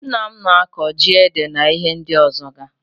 Nna m n'akọ ji ede na ihe ndi ọzọga.